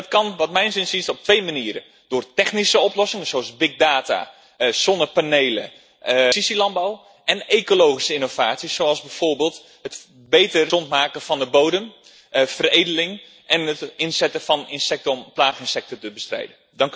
Dat kan naar mijns inziens op twee manieren door technische oplossingen zoals big data, zonnepanelen, precisielandbouw en ecologische innovaties zoals bijvoorbeeld het gezonder maken van de bodem, veredeling, en het inzetten van insecten om plaaginsecten te bestrijden.